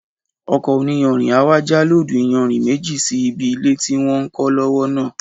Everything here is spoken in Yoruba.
Ọkọ̀ oníyanrìn á wá já lóòdù iyanrìn méjì sí ibi ilé tí wọ́n ń kọ́ lọ́wọ́ náà